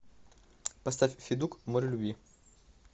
поставь федук море любви